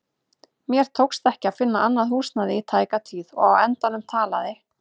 Mér tókst ekki að finna annað húsnæði í tæka tíð og á endanum talaði